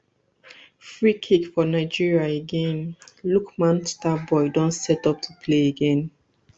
free kick for nigeria again lookman star boy don step up to play again